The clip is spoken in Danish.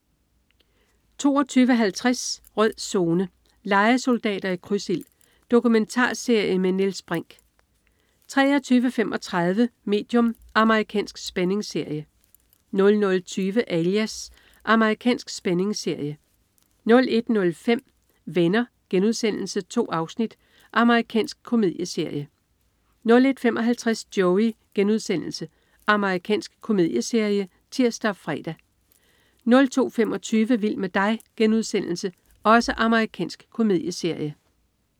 22.50 Rød Zone: Lejesoldater i krydsild. Dokumentarserie med Niels Brinch 23.35 Medium. Amerikansk spændingsserie 00.20 Alias. Amerikansk spændingsserie 01.05 Venner.* 2 afsnit. Amerikansk komedieserie 01.55 Joey.* Amerikansk komedieserie (tirs og fre) 02.25 Vild med dig.* Amerikansk komedieserie